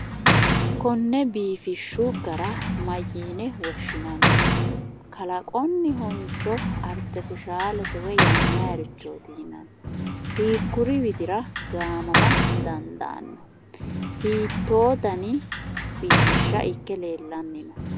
Konne biifishshu gara mayyiine woshshinanni? Kalaqonnihonso artifishaalete woyi yannayirichooti yinanni? Hiikkuri widira gaamama dandaanno? Hiittoo dani biifishsha ikke leellanni no?